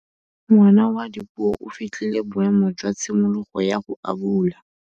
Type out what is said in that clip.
Ngwana wa Dipuo o fitlhile boêmô jwa tshimologô ya go abula.